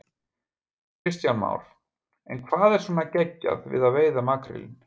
Kristján Már: En hvað er svona geggjað við að veiða makrílinn?